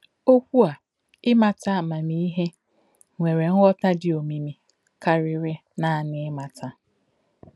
Okwu a ‘ ịmata amamihe’ nwere nghọta dị omimi karịrị naanị 'ịmata'.